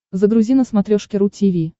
загрузи на смотрешке ру ти ви